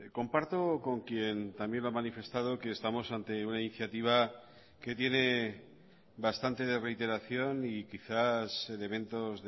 comparto con quien también lo ha manifestado que estamos ante una iniciativa que tiene bastante de reiteración y quizás de eventos